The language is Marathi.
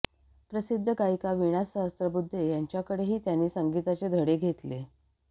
प्रसिद्ध गायिका वीणा सहस्रबुद्धे यांच्याकडेही त्यांनी संगीताचे धडे घेतले